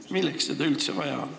Milleks seda üldse vaja on?